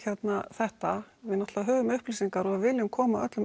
þetta við náttúrulega höfum upplýsingar og viljum koma öllum